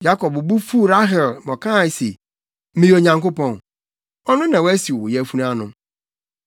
Yakob bo fuw Rahel ma ɔkae se, “Meyɛ Onyankopɔn? Ɔno na wasiw wo yafunu ano.”